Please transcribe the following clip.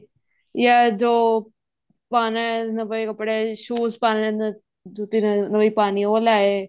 ਜਾਂ ਜੋ ਪਾਣਾ ਏ ਨਵੇਂ ਕੱਪੜੇ shoes ਪਾਣੇ ਹਨ ਜੁੱਤੀ ਨਵੀਂ ਪਾਨੀ ਉਹ ਲੈ ਆਏ